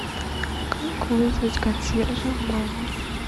как вызвать консьержа в номер